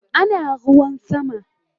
Ana ruwan sama